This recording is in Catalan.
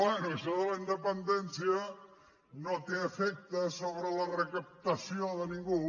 bé això de la independència no té efectes sobre la recaptació de ningú